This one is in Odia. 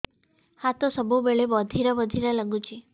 ହାତ ସବୁବେଳେ ବଧିରା ବଧିରା ଲାଗୁଚି